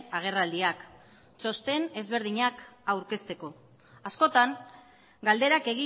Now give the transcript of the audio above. agerraldiak txosten ezberdinak aurkezteko askotan galderak